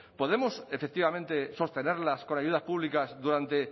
podemos efectivamente sostenerlas con ayudas públicas durante